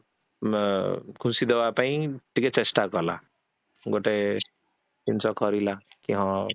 ଅ ଖୁସି ଦେବା ପାଇଁ କିଛି ଚେଷ୍ଟା କଲା ଗୋଟେ ଜିନିଷ କରିଲା କି ହଁ